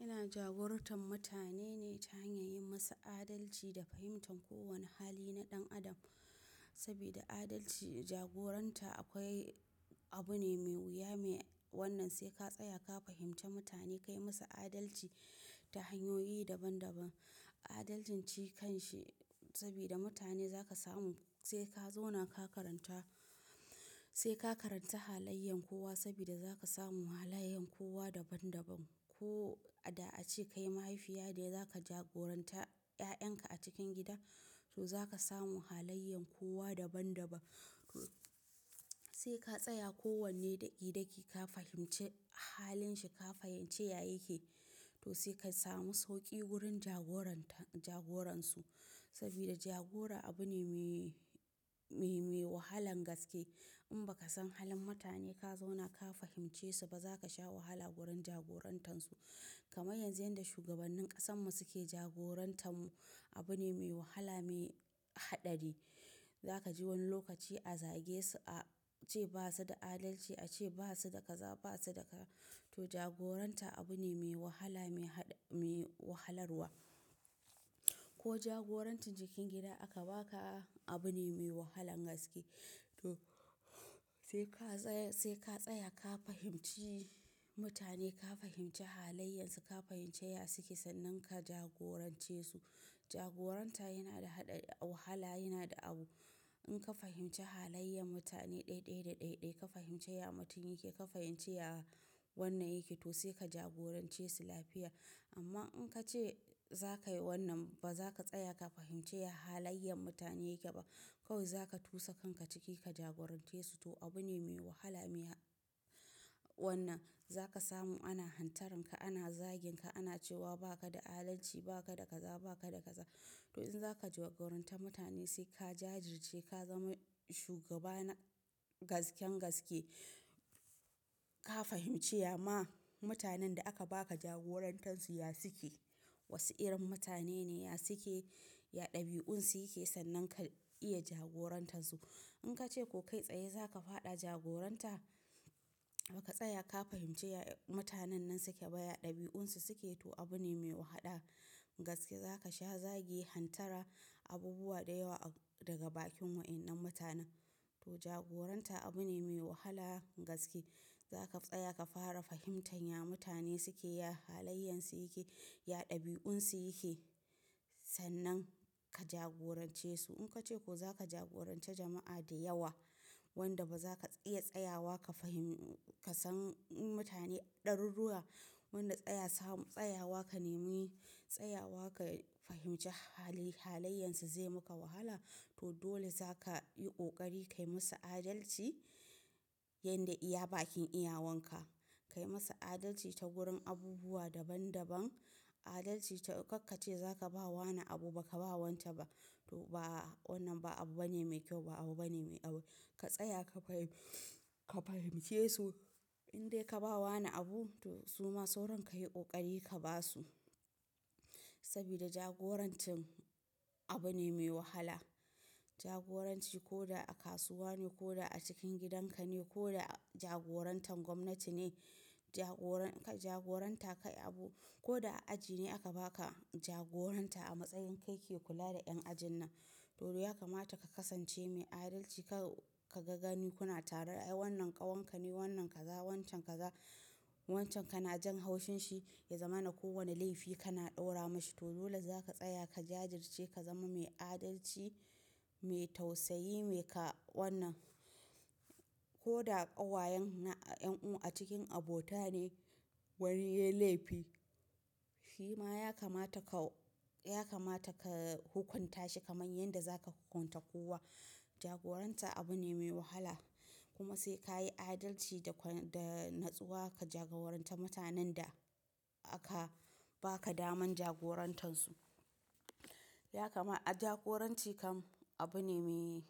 Ina jagorantar mutane ne ta hanyar yin musu adalci da fahimtar kowane hali na ɗan adam. Sabida adalci da jagoranta akwai abu ne mai wuya mai wannan, sai ka tsaya ka fahimci mutane kai musu adalci ta hanyoyi daban daban. Adalcin ci kan shi sabida mutane za ka samu sai ka zauna ka karanta, sai ka karanta halayen kowa sabida za ka samu halayen kowa daban daban. Ko a da a ce ka yi mahaifiya dai za ka jagoranta 'ya'yanka a cikin gida, to za ka samu halayen kowa daban daban. Sai ka tsaya kowane daki daki ka fahimci halin shi, ka fahimci ya yake. To sai ka samu sauƙi wurin jagoranta, jagoransu sabida jagora abu ne mai, mai, mai wahalan gaske. In ba ka san halin mutane ka zauna ka fahimce su ba za ka sha wahala wurin jagorantansu. Kamar yanzu yanda shugabannin ƙasarmu suke jagoranta mu, abu ne mai wahala mai haɗari. Za ka ji wani lokaci a zage su, a ce ba su da adalci, a ce ba su da kaza, ba su da ka. To jagoranta abu ne mai wahala mai haɗa, mai wahalarwa. Ko jagorancin cikin gida aka ba ka abu ne mai wahalan gaske. To sai ka tsaya, sai ka tsaya ka fahimci mutane, ka fahimci halayensu, ka fahimci ya suke sannan ka jagorance su. Jagoranta yana da haɗa wahala, yana da abu. In ka fahimci halayen mutane ɗaiɗai da ɗaiɗai, ka fahimci ya mutum yake, ka fahimci ya wannan yake, to sai ka jagorance su lafiya. Amma in ka ce za ka yi wannan ba za ka tsaya ka fahimci halayen mutane yake ba, kawai za ka tusa kanka ciki ka jagorance su. To abu ne mai wahala mai wannan. Za ka samu ana hantaranka, ana zage ka, ana cewa ba ka da adalci, ba ka da kaza, ba ka da kaza. To in za ka jagoranta mutane sai ka jajirce, ka zama shugaba na gasken gaske. Ka fahimci ya ma mutanen da aka ba ka jagorantansu ya suke, wasu irin mutane ne, ya suke, ya ɗabi'un su yake sannan ka iya jagorantansu. In ka ce ko kai tsaye za ka faɗa jagoranta ba ka tsaya ka fahimci mutanen nan suke ba, ya ɗabi'un su suke, to abu ne mai wahala gaske. Za ka sha zagi, hantara, abubuwa da yawa daga bakin wa'innan mutanen. To jagoranta abu ne mai wahala gaske. Za ka tsaya ka fara fahimtan ya mutane suke, ya halayensu yake, ya ɗabi'un su yake sannan ka jagorance su. In ka ce ko za ka jagoranci jama'a da yawa wanda ba za ka iya tsayawa ka fahim, ka san mutane ɗaruruwa wanda tsaya samu, tsayawa ka nemi tsayawa ka fahimci hali, halayensu zai muka wahala. To dole za ka yi ƙoƙari ka yi musu adalci yanda iya bakin iyawanka. Kai musu adalci ta wurin abubuwa daban daban. Adalci ta, ka ce za ka ba wanna abu ba ka ba wanda ba. To ba wannan ba abu bane mai kyau, ba abu bane mai awo. Ka tsaya ka fahim, ka fahimce su. In dai ka ba wanna abu to suma sauran ka yi ƙoƙari ka ba su sabida jagorancin abu ne mai wahala. Jagoranci ko da a kasuwa ne ko da a cikin gidan ka ne ko da jagorantar gwamnati ne, jagoran, jagoranta kai abu ko da a aji ne aka ba ka jagoranta a matsayin kai ke kula da 'yan ajin nan. To dole ya kamata ka kasance mai adalci. Ka, ka ga ganikuna tare da wannan ƙawanka ne, wannan kaza, wancan kaza, wancan ka na jan haushin shi ya zama na kowane laifi kana ɗaura mashi. To dole za ka tsaya ka jajirce, ka zama mai adalci, mai tausayi, mai ka wannan. Ko da ƙawayen na 'yan uwa a cikin abota ne wani ya yi laifi, shi ma ya kamata ka, ya kamata ka hukunta shi kamar yanda za ka hukunta kowa. Jagoranta abu ne mai wahala. Kuma sai ka yi adalci da, da natsuwa ka jagoranta mutanen da aka ba ka daman jagorantansu. Ya kama jagoranci kam abu ne mai,